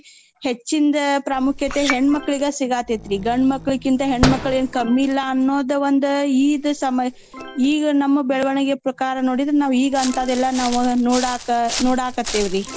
ಹೆಚ್ಚಿಂದ ಪ್ರಾಮುಖ್ಯತೇ ಹೆಣ್ಮಕ್ಳಗೇ ಸಿಗಾತ್ತೆತ್ರೀ ಗಂಡ್ಮಕ್ಳಕೀಂತ ಹೆಣ್ಮಕ್ಳೇನ್ ಕಮ್ಮಿ ಇಲ್ಲಾ ಅನ್ನೋದ್ ಒಂದ್ ಇದ್ ಸಮ ಈಗ ನಮ್ಮ ಬೆಳ್ವಣಿಗೆ ಪ್ರಕಾರ್ ನೋಡಿದ್ರ ಈಗ ಅಂತಾದೆಲ್ಲಾ ನಾವೂ ನೋಡಾಕ~ ನೋಡಾಕತ್ತೇವ್ರೀ.